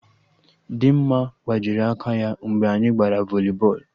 Dịmma gbajiri aka ya mgbe anyị gbara voli bọọlụ